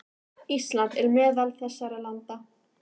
Ísland er meðal þessara landa.